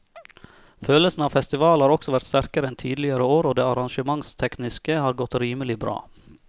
Følelsen av festival har også vært sterkere enn tidligere år og det arrangementstekniske har godt rimelig bra.